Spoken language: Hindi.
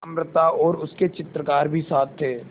अमृता और उसके चित्रकार भी साथ थे